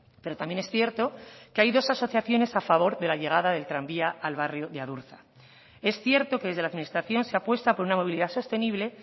pero también es cierto que hay dos asociaciones a favor de la llegada del tranvía al barrio de adurza es cierto que desde la administración se apuesta por una movilidad sostenible